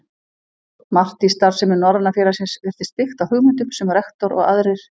Margt í starfsemi Norræna félagsins virtist byggt á hugmyndum, sem rektor og aðrir